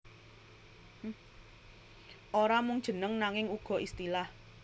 Ora mung jeneng nanging uga istilah